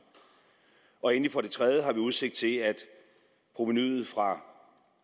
og endelig har vi for det tredje udsigt til at provenuet fra